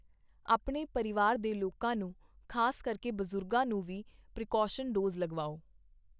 ਆਪਣੇ ਪਰਿਵਾਰ ਦੇ ਲੋਕਾਂ ਨੂੰ, ਖਾਸ ਕਰਕੇ ਬਜ਼ੁਰਗਾਂ ਨੂੰ ਵੀ ਪ੍ਰੀਕੌਸ਼ਨ ਡੋਜ਼ ਲਗਵਾਓ।